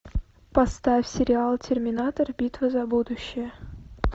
поставь сериал терминатор битва за будущее